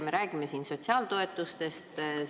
Me räägime siin sotsiaaltoetustest.